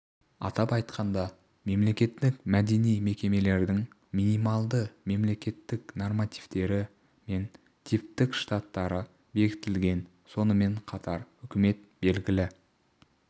атап айтқанда мемлекеттік мәдени мекемелердің минималды мемлекеттік нормативтері мен типтік штаттары бекітілген сонымен қатар үкіметі белгілі